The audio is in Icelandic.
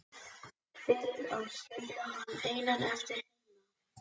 Fyrir að skilja hann einan eftir heima.